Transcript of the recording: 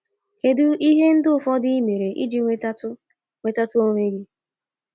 Kedu ihe ndị ufọdụ ị mere iji nwetatụ nwetatụ onwe gị?